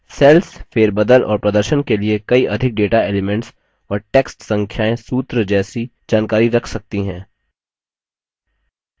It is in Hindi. cells फेरबदल और प्रदर्शन के लिए कई अधिक data elements और text संख्याएँ सूत्र जैसी जानकारी रख सकती हैं